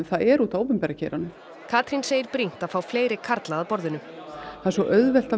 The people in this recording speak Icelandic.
það er út af opinbera geiranum Katrín segir brýnt að fá fleiri karla að borðinu það er svo auðvelt